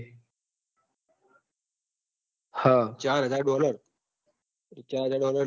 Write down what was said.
ચાર હાજર dollar ચાર હાજર dollar અ